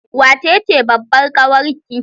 Wace ce babbar kawar ki?